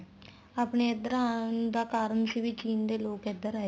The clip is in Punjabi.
ਆਪਣੇ ਇੱਧਰ ਆਉਣ ਦਾ ਕਾਰਨ ਸੀ ਵੀ ਚੀਨ ਦੇ ਲੋਕ ਇੱਧਰ ਆਏ